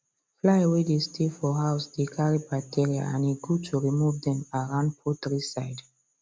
fly way dey stay for house dey carry bacteria and e good to remove dem around poultry side